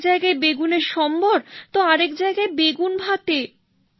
এক জায়গায় বেগুনের সম্বর তো আরেক জায়গায় বেগুন ভাতে